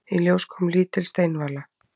Í ljós kom lítil steinvala.